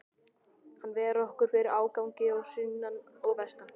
Hann ver okkur fyrir ágangi að sunnan og vestan.